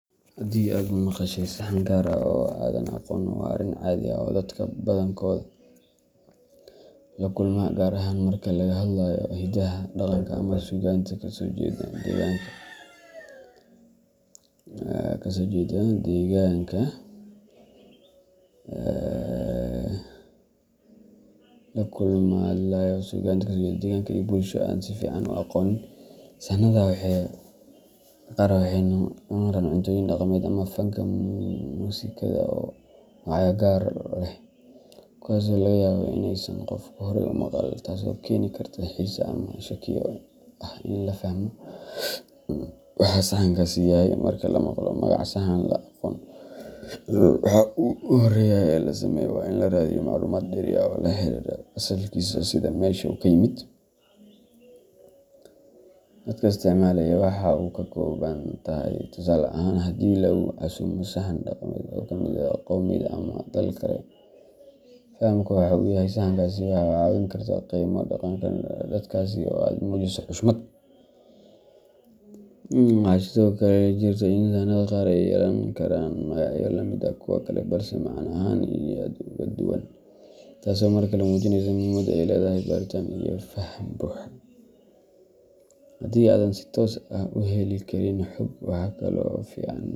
Haddii aad maqashay saxan gaar ah oo aanad aqoon, waa arrin caadi ah oo dadka badankood la kulma, gaar ahaan marka laga hadlayo hidaha, dhaqanka, ama suugaanta ka soo jeeda deegaan ama bulsho aanad si fiican u aqoonin. Saxannada qaar waxay noqon karaan cuntooyin dhaqameed ama fanka muusikada oo magacyo gaar ah leh, kuwaasoo laga yaabo in aysan qofku horay u maqal, taasoo keeni karta xiise ama shakiyo ah in la fahmo waxa saxankaasi yahay. Marka la maqlo magac saxan aan la aqoon, waxa ugu horreeya ee la sameeyo waa in la raadiyo macluumaad dheeri ah oo la xiriira asalkiisa, sida meesha uu ka yimid, dadka isticmaala, iyo waxa uu ka kooban yahay. Tusaale ahaan, haddii lagu casuumo saxan dhaqameed oo ka yimid qowmiyad ama dal kale, fahamka waxa uu yahay saxankaasi waxay kaa caawin kartaa inaad qiimeyso dhaqanka dadkaasi oo aad muujiso xushmad. Waxaa sidoo kale jirta in saxanada qaar ay yeelan karaan magacyo la mid ah kuwa kale balse macne ahaan aad uga duwan, taasoo markale muujinaysa muhiimadda ay leedahay baaritaan iyo faham buuxa. Haddii aadan si toos ah u heli karin xog.